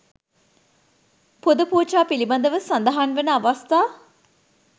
පුද පූජා පිළිබඳව සඳහන් වන අවස්ථා